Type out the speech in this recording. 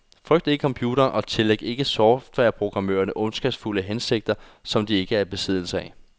Frygt ikke computeren og tillæg ikke softwareprogrammørerne ondskabsfulde hensigter som de ikke er i besiddelse af.